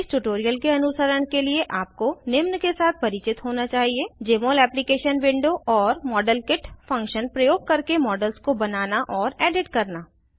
इस ट्यूटोरियल के अनुसरण के लिए आपको निम्न के साथ परिचित होना चाहिए जमोल एप्लीकेशन विंडो और मॉडेलकिट फंक्शन प्रयोग करके मॉडल्स को बनाना और एडिट करना